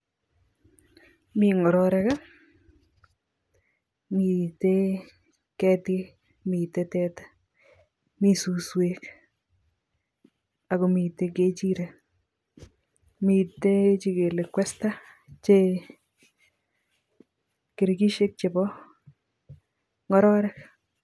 Mi ngororek ii, mitei ketik mitei teta mi suswek ako mitei kechirek mitei chekele kwesta che kirkishek chebo ngororek.